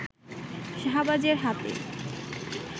শাহবাজের হাতে